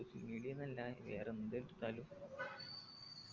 social media ന്നല്ല വേറെ എന്തെടുത്തലും